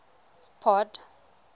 port